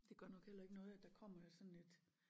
Det gør nok heller ikke noget at der kommer sådan lidt